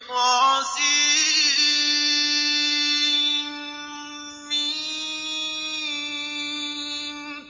طسم